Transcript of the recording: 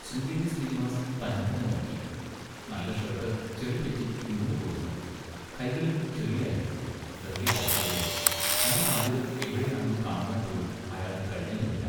ശൃംഗേരി ശ്രീനിവാസ് തന്നെത്തന്നെ നോക്കി. നല്ല ഷേട്ട് ചെളിപറ്റി ഇരുണ്ടുപോയിരുന്നു. കൈകളിലും ചെളിയായിരുന്നു, നിറയെ പോറലുകളും. തൻ്റെ കാലുകൾ എവിടെയാണെന്ന് കാണുവാൻപോലും അയാൾക്ക് കഴിഞ്ഞതുമില്ല.